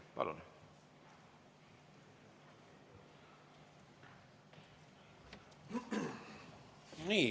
Palun!